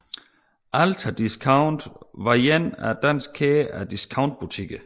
Alta Discount var en dansk kæde af discountbutikker